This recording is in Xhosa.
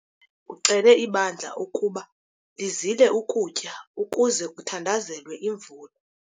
Ucele ibandla ukuba lizile ukutya ukuze kuthandazelwe imvula.